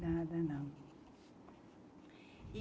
Nada não. E